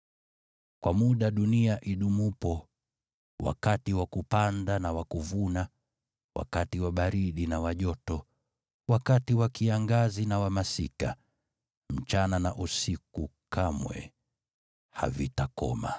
“Kwa muda dunia idumupo, wakati wa kupanda na wa kuvuna, wakati wa baridi na wa joto, wakati wa kiangazi na wa masika, usiku na mchana kamwe havitakoma.”